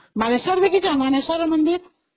ମାନେଶ୍ଵର ଦେଖିଛ , ମାନେଶ୍ଵର ମନ୍ଦିର?